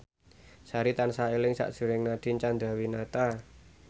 Sari tansah eling sakjroning Nadine Chandrawinata